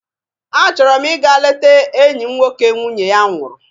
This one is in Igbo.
A chọrọ m ị ga lete enyị m nwoke nwunye ya nwụrụ.